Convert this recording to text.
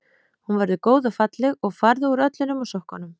Hún verður góð og falleg og farðu úr öllu nema sokkunum.